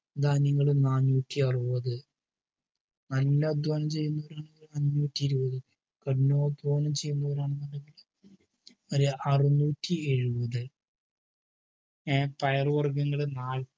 ധാന്യങ്ങൾ നാനൂറ്റിയറുപത് നല്ല അധ്വാനം ചെയ്യുന്നവർ ആണെങ്കിൽ അഞ്ഞൂറ്റിഇരുപത് കഠിനാധ്വാനം ചെയ്യുന്നവർ ആണെങ്കിൽ അതുമാതിരി അറനൂറ്റിഎഴുപത് പയറുവർഗങ്ങള് നാനൂറ്റി